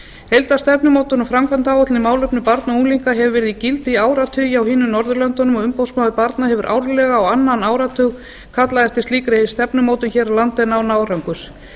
heildarstefnumótun og framkvæmdaráætlun í málefnum barna og unglinga hefur verið í gildi í áratugi á hinum norðurlöndunum og umboðsmaður barna hefur árlega og á annan áratug kallað eftir slíkri stefnumótun hér á landi en án árangurs